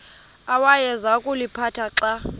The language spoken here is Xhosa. awayeza kuliphatha xa